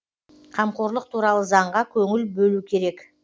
қамқорлық туралы заңға көңіл бөлу керек